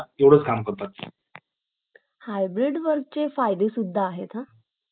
आता hybrid work मध्ये जे की online मध्ये ते न दिल जाते